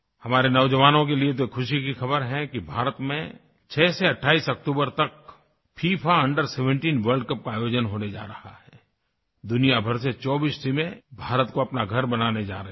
हमारे नौजवानों के लिए तो खुशी की खबर है कि भारत में 6 से 28 अक्टूबर तक फिफा अंडर 17 वर्ल्ड कप का आयोजन होने जा रहा है आई दुनिया भर से 24 टीमें भारत को अपना घर बनाने जा रही हैं